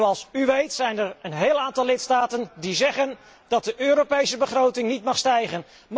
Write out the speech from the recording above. En zoals u weet, zijn er een heel aantal lidstaten die zeggen dat de Europese begroting niet mag stijgen.